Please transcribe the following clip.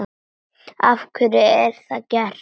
Af hverju er það gert?